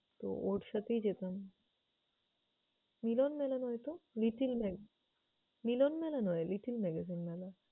তো ওর সাথেই যেতাম। মিলনমেলা নয়তো little mag~, মিলন মেলা নয় little magazine মেলা।